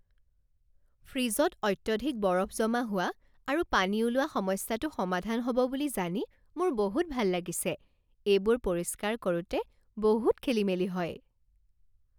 ফ্ৰিজত অত্যধিক বৰফ জমা হোৱা আৰু পানী ওলোৱা সমস্যাটো সমাধান হ'ব বুলি জানি মোৰ বহুত ভাল লাগিছে, এইবোৰ পৰিষ্কাৰ কৰোঁতে বহুত খেলিমেলি হয়।